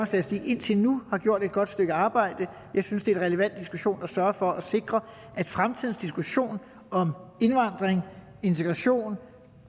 statistik indtil nu har gjort et godt stykke arbejde jeg synes det er en relevant diskussion at sørge for at sikre at fremtidens diskussion om indvandring integration og